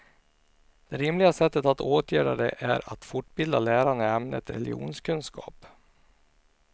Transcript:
Det rimliga sättet att åtgärda det är att fortbilda lärarna i ämnet religionskunskap.